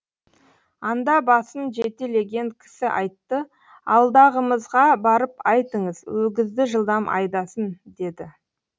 анда басын жетелеген кісі айтты алдағымызға барып айтыңыз өгізді жылдам айдасын деді